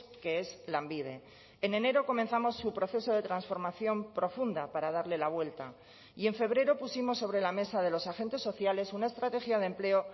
que es lanbide en enero comenzamos su proceso de transformación profunda para darle la vuelta y en febrero pusimos sobre la mesa de los agentes sociales una estrategia de empleo